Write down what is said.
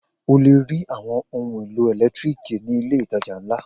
O le rí àwọn ohun-èlò ẹ̀lẹ́tíríkì ní ilé-ìtajà ńlá.